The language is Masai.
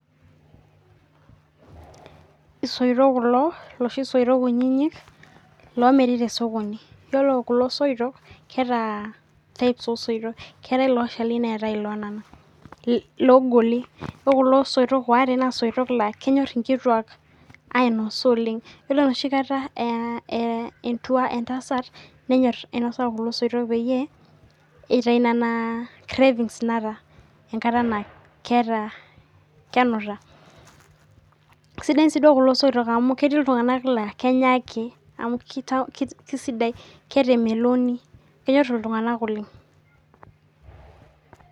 Isoitok kulo loshi soitok kutitik loomiri tee sokoni. Iyiolo kulo soitok keeta types oo isoitok keetae loshali neetae lonana loogoli. Iyiolo kulo soitok ware naa isoitok laa kenyor inkituak ainosa Oleng'. Iyiolo enoshi kataa aa entua entasat nenyor ainosa kulo soitok peeyie itayu nena cravings naata enkata naa keeta kenuta. Isidain sii kulo soitok amuu ketii iltung'ana laa kenya ake kisidai ketaa emeloni kenyor iltung'ana oleng.